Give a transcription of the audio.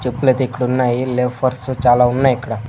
చెప్పులు అయితే ఇక్కడ ఉన్నాయి లోఫర్స్ చాలా ఉన్నాయి ఇక్కడ.